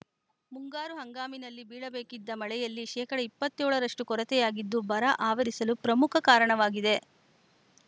ಮುಂಗಾರು ಹಂಗಾಮಿನಲ್ಲಿ ಬೀಳಬೇಕಿದ್ದ ಮಳೆಯಲ್ಲಿ ಶೇಕಡಾ ಇಪ್ಪತ್ಯೋಳು ರಷ್ಟುಕೊರತೆಯಾಗಿದ್ದು ಬರ ಆವರಿಸಲು ಪ್ರಮುಖ ಕಾರಣವಾಗಿದೆ